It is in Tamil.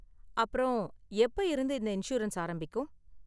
அப்பறம், எப்ப இருந்து இந்த​ இன்சூரன்ஸ் ஆரம்பிக்கும்?